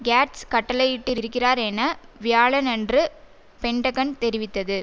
Gates கட்டளையிட்டிருக்கிறார் என வியாழனன்று பென்டகன் தெரிவித்தது